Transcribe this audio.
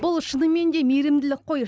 бұл шынымен де мейірімділік қой